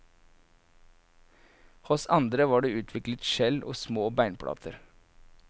Hos andre var det utviklet skjell og små beinplater.